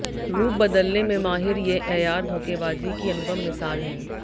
रूप बदलने में माहिर ये ऐयार धोखेबाजी की अनुपम मिसाल हैं